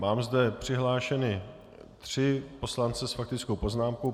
Mám zde přihlášené tři poslance s faktickou poznámkou.